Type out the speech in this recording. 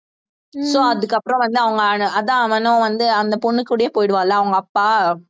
so அதுக்கப்புறம் வந்து அவங்க அதான் அவனும் வந்து அந்த பொண்ணு கூடயே போயிடுவால்ல அவங்க அப்பா